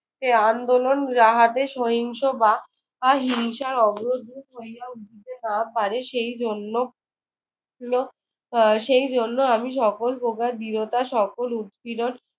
এ আন্দোলন যাহাতে সহিংস বা বা হিংসার অগ্রদূত হইয়া উঠিতে না পারে সেই জন্য আহ সেই জন্য আমি সকল প্রকার দৃঢ়তা সকল উৎপীড়ন